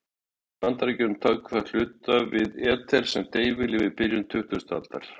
Í Bandaríkjunum tók það að hluta við af eter sem deyfilyf í byrjun tuttugustu aldarinnar.